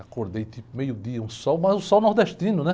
Acordei tipo meio-dia, um sol, mas um sol nordestino, né?